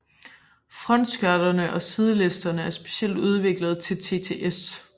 Frontskørterne og sidelisterne er specielt udviklet til TTS